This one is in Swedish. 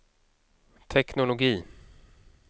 teknologi